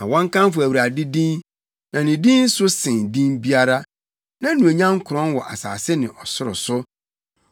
Ma wɔnkamfo Awurade din, na ne din so sen din biara; nʼanuonyam korɔn wɔ asase ne ɔsoro so.